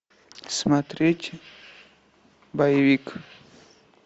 смотреть боевик